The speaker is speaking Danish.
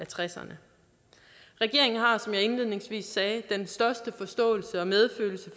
tresserne regeringen har som jeg indledningsvis sagde den største forståelse og medfølelse